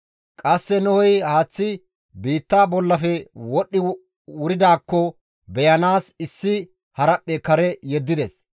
Qasse Nohey haaththi biitta bollafe wodhdhi wuridaakko beyanaas issi haraphphe kare yeddides.